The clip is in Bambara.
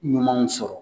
Ɲumanw sɔrɔ